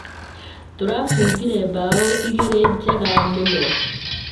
Tũrabungire mbaũ igĩrĩ njega mũno